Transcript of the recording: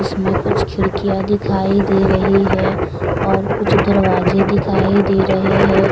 कुछ खिड़कीयां दिखाई दे रही है और कुछ दरवाजे दिखाई दे रहे हैं ।